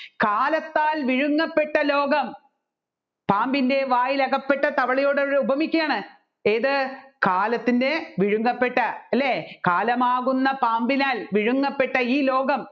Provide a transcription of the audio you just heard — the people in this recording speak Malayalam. കാലത്താൽ വിഴുങ്ങപ്പെട്ട ലോകം പാമ്പിന്റെ വായിലകപ്പെട്ട തവളയോട് ഉപമിക്കുകയാണ് ഏതു കാലത്തിൻെറ വിഴുങ്ങപ്പെട്ട അല്ലെ കാലമാകുന്ന പാമ്പിനാൽ വിഴുങ്ങപ്പെട്ട ഈ ലോകം